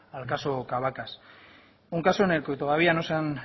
al caso cabacas un caso en el que todavía no se han